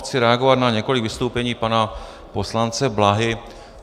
Chci reagovat na několik vystoupení pana poslance Bláhy.